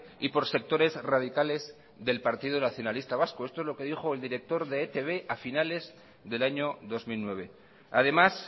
y por sectores radicales del partido nacionalista vasco esto es lo que dijo el director de e i te be a finales del año dos mil nueve además